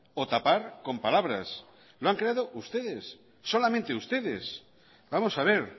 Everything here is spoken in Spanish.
o tapar con palabras lo han creado ustedes solamente ustedes vamos a ver